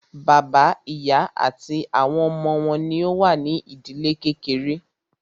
Bàbá, ìyá àti àwọn ọmọ wọn ní o wà ní ìdílé kékeré.